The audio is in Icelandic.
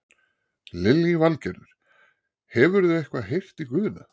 Lillý Valgerður: Hefurðu eitthvað heyrt í Guðna?